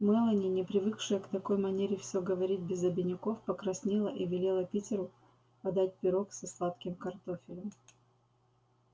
мелани не привыкшая к такой манере все говорить без обиняков покраснела и велела питеру подать пирог со сладким картофелем